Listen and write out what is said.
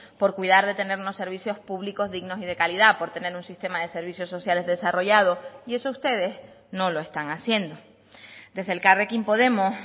por cuidar de tener unos servicios públicos dignos y de calidad por tener un sistema de servicios sociales desarrollado y eso ustedes no lo están haciendo desde elkarrekin podemos